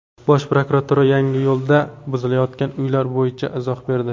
Bosh prokuratura Yangiyo‘lda buzilayotgan uylar bo‘yicha izoh berdi.